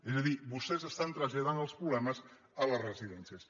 és a dir vostès estan traslladant els problemes a les residències